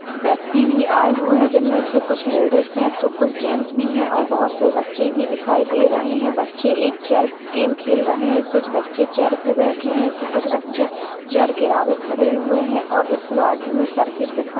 व्यक्ति भी आये हुए है जिनमें से कुछ लेडीजस है कुछ जेंट्स भी है और बहुत से बच्चे भी दिखाई दे रहे है बच्चे एक चेयर गेम खेल रहे है कुछ बच्चे चेयर पे बैठे है तो कुछ बच्चे चेयर के आगे खड़े हुए है और इस गार्डन में सर्किट दिखाई--